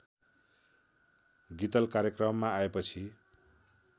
गीतल कार्यक्रममा आएपछि